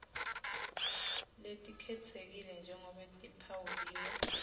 letikhetsekile njengobe tiphawuliwe